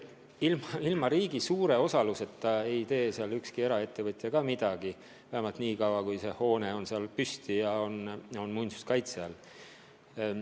Ilma riigi suure osaluseta ei tee seal ükski eraettevõtja midagi, vähemalt nii kaua, kui see hoone on seal püsti ja ka muinsuskaitse all.